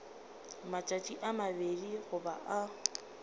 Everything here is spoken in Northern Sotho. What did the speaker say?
matšatši a mabedi goba a